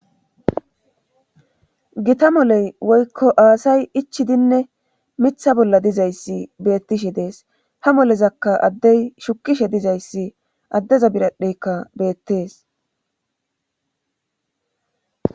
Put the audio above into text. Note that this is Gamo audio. Gita moley woykko aasay ichidinne mitha bolla dizayssi beettishe dees ha molezakka addey shukishe dizayssi addeza biradheykka beettees.